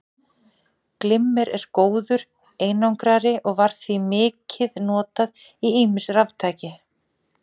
Glimmer er góður einangrari og var því mikið notað í ýmis raftæki.